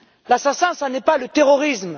L'assassin, ce n'est pas le terrorisme.